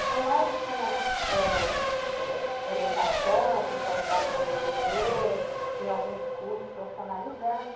Então, lá eles tinham orientação, o pessoal ajudava a fazer o dever, tinha alguns cursos profissionalizantes.